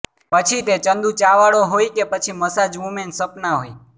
પછી તે ચન્દુ ચા વાળો હોય કે પછી મસાજ વુમેન સપના હોય